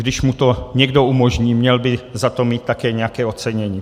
Když mu to někdo umožní, měl by za to mít také nějaké ocenění.